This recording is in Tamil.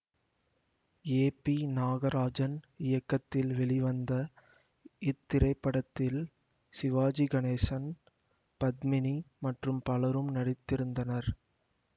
ஏ பி நாகராஜன் இயக்கத்தில் வெளிவந்த இத்திரைப்படத்தில் சிவாஜி கணேசன் பத்மினி மற்றும் பலரும் நடித்திருந்தனர்